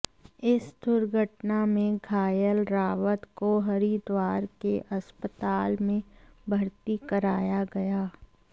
इस दुर्घटना में घायल रावत को हरिद्वार के अस्पताल में भर्ती कराया गया